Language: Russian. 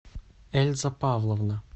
эльза павловна